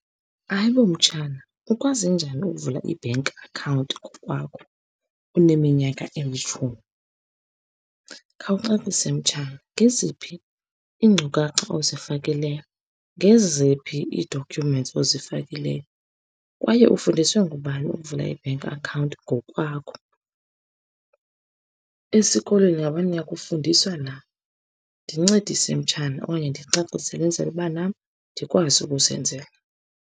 Hayi bo mtshana, ukwazi njani ukuvula i-bank account ngokwakho uneminyaka emitshumi? Khawucacise mtshana, ngeziphi iinkcukacha ozifakileyo, ngeziphi ii-documents ozifakileyo kwaye ufundiswe ngubani ukuvula i-bank account ngokwakho? Esikolweni ingaba niyakufundiswa na? Ndincedise mtshana, okanye ndicacisele enzele uba nam ndikwazi ukuzenzela.